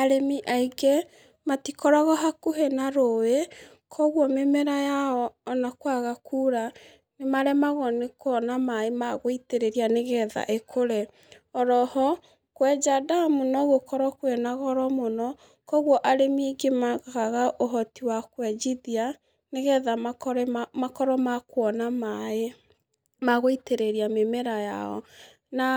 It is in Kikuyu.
Arĩmi aingĩ matikoragwo hakũhĩ na rũũĩ, kogwo mĩmera yao ona kwaga kuura nĩ maremagwo nĩ kũona maaĩ ma gũitĩrĩria nĩ getha ĩkũre. Oro ho, kwenja ndamu no gũkorwo kwĩna goro mũno. Kogwo arĩmi aingĩ makaga ũhoti wa kwenjithia nĩ getha makorwo ma kũona maaĩ ma gũitĩrĩria mĩmera yao. Na